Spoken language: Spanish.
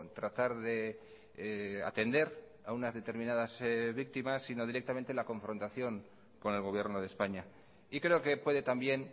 tratar de atender a unas determinadas víctimas sino directamente la confrontación con el gobierno de españa y creo que puede también